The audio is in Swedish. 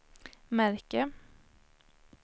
märke